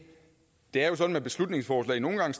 det er sådan med beslutningsforslag at nogle gange